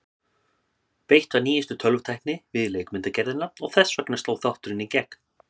beitt var nýjustu tölvutækni við leikmyndagerðina og þess vegna sló þátturinn í gegn.